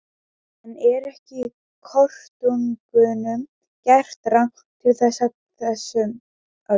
En er ekki kotungunum gert rangt til með þessum orðum?